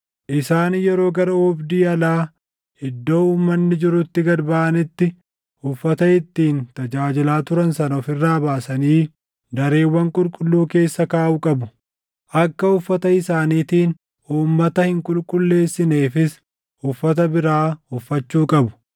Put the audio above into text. Isaan yeroo gara oobdii alaa iddoo uummanni jirutti gad baʼanitti uffata ittiin tajaajilaa turan sana of irraa baasanii dareewwan qulqulluu keessa kaaʼuu qabu; akka uffata isaaniitiin uummata hin qulqulleessineefis uffata biraa uffachuu qabu.